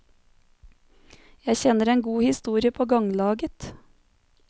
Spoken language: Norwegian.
Jeg kjenner en god historie på ganglaget.